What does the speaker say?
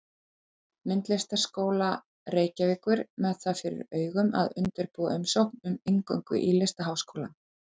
Myndlistarskóla Reykjavíkur með það fyrir augum að undirbúa umsókn um inngöngu í Listaháskólann.